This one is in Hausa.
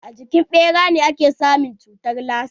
A jikin ɓera ake samun cutar lasa?